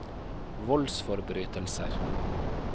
voldsforbrytelser